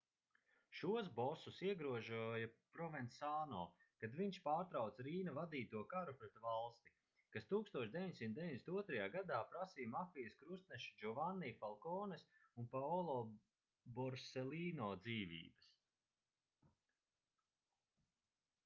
šos bosus iegrožoja provensāno kad viņš pārtrauca rīna vadīto karu pret valsti kas 1992. gadā prasīja mafijas krustnešu džovanni falkones un paolo borselīno dzīvības